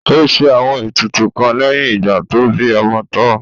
Ó ṣe àwọn ètùtù kan lẹ́yìn ìgbà tó bí ọmọ tán